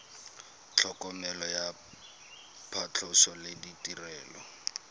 tlhokomelo ya phatlhoso le ditirelo